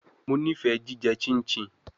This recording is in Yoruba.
Mo nifẹ jijẹ chinchin